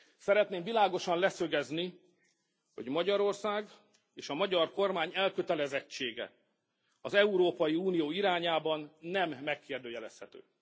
Szeretném világosan leszögezni, hogy Magyarország és a magyar kormány elkötelezettsége az Európai Unió irányában nem megkérdőjelezhető.